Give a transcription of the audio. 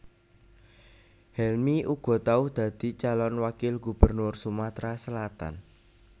Helmy uga tau dadi calon wakil gubernur Sumatra Selatan